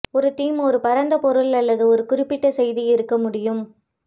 ஒரு தீம் ஒரு பரந்த பொருள் அல்லது ஒரு குறிப்பிட்ட செய்தி இருக்க முடியும்